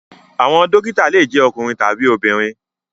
Àwọn dókítà le jẹ ọkùnrin tabi obìnrin.